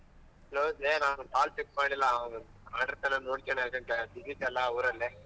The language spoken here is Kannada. ಹೌದ್ ಲೇ ನಾನ್ call pick ಮಾಡಿಲ್ಲ ಆವಂದ್ ಮಾಡಿರ್ತಾನೆ ನೋಡ್ಕಣಕಾಗಿಲ್ಲ busy ಇದ್ದೆ ಅಲ್ಲ ಊರಲ್ಲಿ.